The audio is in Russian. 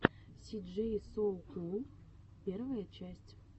си джей соу кул первая часть